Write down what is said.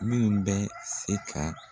Minnu bɛ se ka.